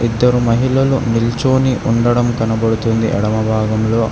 ఇద్దరు మహిళలు నిల్చొని ఉండడం కనబడుతుంది ఎడమ భాగంలో.